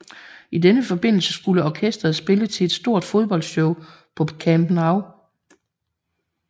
I denne forbindelse skulle orkestret spille til et stort fodboldshow på Camp Nou